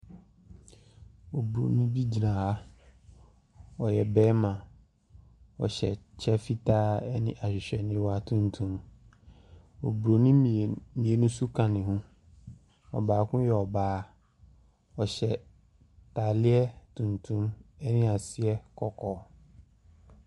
Oburoni bi gyina ha. Ɔyɛ barima. Ɔhyɛ kyɛ fitaa ne ahwehwɛniwa tuntum. Oburoni mmien mmienu nso ka ne ho. Ɔbaako yɛ ɔbaa. Ɔhyɛ atareɛ tuntum ne aseɛ kɔkɔɔ.